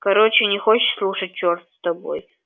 короче не хочешь слушать черт с тобой